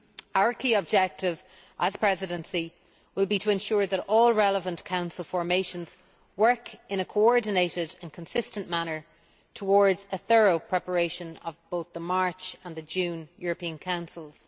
Our key objective as the Presidency will be to ensure that all relevant Council formations work in a coordinated and consistent manner towards a thorough preparation of both the March and the June European Councils.